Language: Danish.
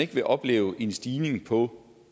vil opleve en stigning på